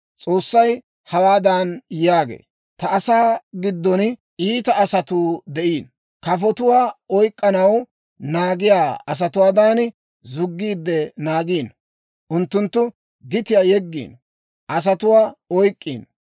S'oossay hawaadan yaagee; «Ta asaa giddon iita asatuu de'iino. Kafotuwaa oyk'k'anaw naagiyaa asatuwaadan zuggiide naagiino. Unttunttu gitiyaa yeggiino; asatuwaa oyk'k'iino.